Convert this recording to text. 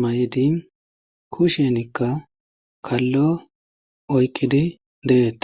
maydin kushenikka kallo oykkidi deeta